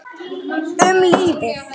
Um lífið.